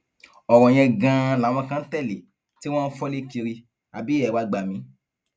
ọrọ yẹn ganan làwọn kan ń tẹlé tí wọn ń fọlé kiri àbí ẹ wàá gbà mí